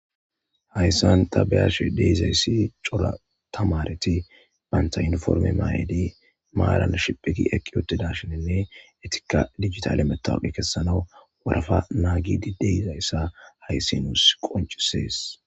Hayssan ta be7izayssi darotamaareti ba yuuniforme mayidi shiphigiidi uttidayssa be7ashe de7ays guussa.etikka dijitaale mettawoqiya kessishe deettes.